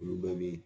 Olu bɛɛ bi